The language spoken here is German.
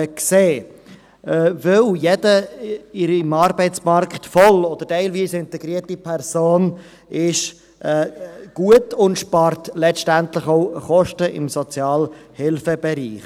Denn jede im Arbeitsmarkt voll oder teilweise integrierte Person ist gut und spart letztendlich auch Kosten im Sozialhilfebereich.